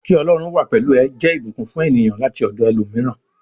Ki Ọlọ́run wà pẹlú ẹ jẹ ìbùkún fún ènìyàn láti ọdọ ẹlòmíràn.